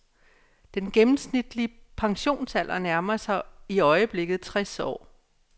Den gennemsnitlige pensionsalder nærmer sig i øjeblikket tres år.